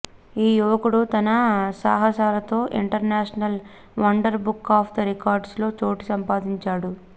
ఈ యువకుడు తన సాహసాలతో international wonder book of records లో చోటు సంపాదించాడు